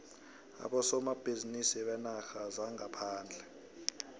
abosomabhizinisi beenarha zangaphandle